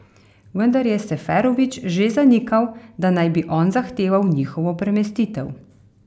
Vendar je Seferović že zanikal, da naj bi on zahteval njihovo premestitev.